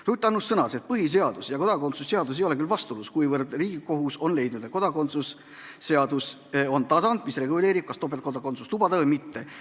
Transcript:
Ruth Annus sõnas, et põhiseadus ja kodakondsuse seadus ei ole aga vastuolus, kuivõrd Riigikohus on leidnud, et kodakondsuse seadus on tasand, mis reguleerib, kas topeltkodakondsust lubada või mitte.